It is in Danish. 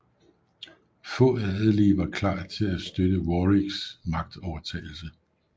Få adelige var klar til at støtte Warwicks magtovertagelse